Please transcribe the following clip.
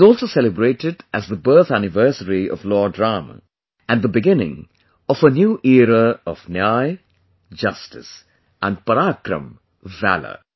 It is also celebrated as the birth anniversary of Lord Rama and the beginning of a new era of justice and Parakram, valour